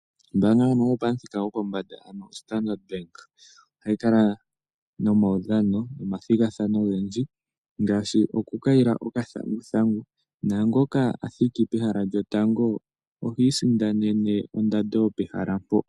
Ombaanga ndjono yopamuthika gwopombanda, ano oStandard Bank, ohayi kala nomaudhano, nomathigathano ogendji, ngaashi okukayila okathanguthangu. Naangoka a thiki pehala lyotango, ohi isindanene ondando yopehala mpo.